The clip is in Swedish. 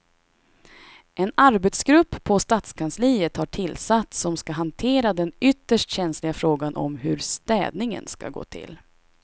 En arbetsgrupp på stadskansliet har tillsatts som ska hantera den ytterst känsliga frågan om hur städningen ska gå till.